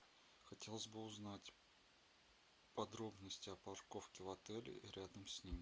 хотелось бы узнать подробности о парковке в отеле и рядом с ним